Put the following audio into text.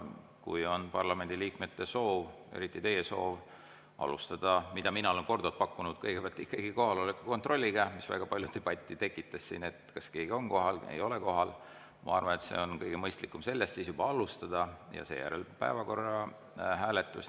Kui parlamendiliikmetel on soov, eriti teil on soov alustada – nagu mina olen korduvalt pakkunud – ikkagi kohaloleku kontrolliga, mis väga palju debatti tekitas siin, et kas keegi on kohal või ei ole kohal, siis ma arvan, et on kõige mõistlikum sellest siis alustada ja seejärel oleks päevakorra hääletus.